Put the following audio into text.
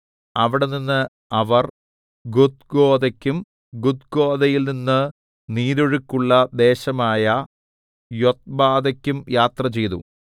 അവിടെനിന്ന് അവർ ഗുദ്ഗോദയ്ക്കും ഗുദ്ഗോദയിൽനിന്ന് നീരൊഴുക്കുള്ള ദേശമായ യൊത്ബാഥയ്ക്കും യാത്രചെയ്തു